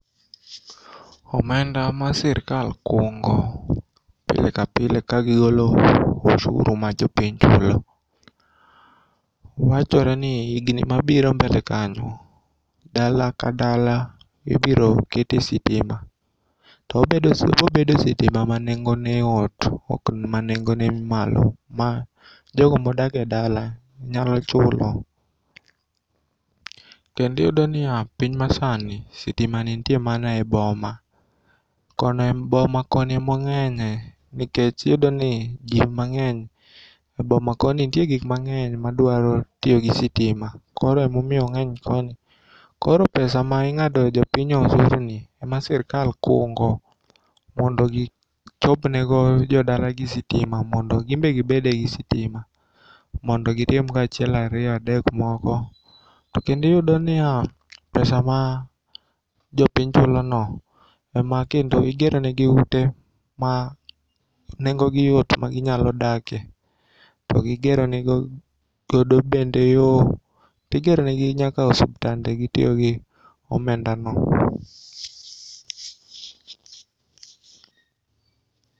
Omenda ma sirkal kungo pile ka pile ka gigolo osuru mar jopiny kelo wachore ni igni mabiro mbele kanyo dala ka dala ibiro ketie sitima to obobedo sitima ma nengone yot ok manengone ni malo ma jogo modake dala nyalo chulo. Kendo iyudoniya piny masani sitimani nitie mana e boma. Boma kono emong'enye nikech iyudoni jii mang'eny e boma koni nitie gik mang'eny madwaro tiyogi sitima koro emomiyo ongg'eny koni. Koro pesa ming'ado jopiny osuruni ema sirkal kungo mondo gichopnego jodalagi sitima mondo ginbe gibede gi sitima mondo gitimgo achiel ariyo adek moko. To kendo iyudo niya pesa ma jopiny chuloni ema kendo igeronegi ute ma nengogi yot ma ginyalo dake to gigero nego godo bende igeronegigo yoo, igeronegi nyaka osiptande gitiogi omendano.